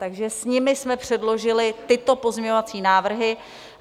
Takže s nimi jsme předložili tyto pozměňovací návrhy.